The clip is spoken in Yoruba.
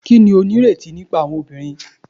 Kini o nireti nipa awọn obinrin